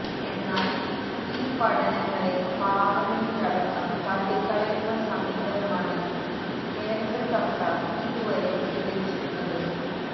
എന്നാല് ഈ പഠനങ്ങളെ പാര്ലമെന്റിലടക്കം തള്ളിക്കളയുന്ന സമീപനമാണ് കേന്ദ്ര സര്ക്കാര് ഇതുവരെ സ്വീകരിച്ചിരുന്നത്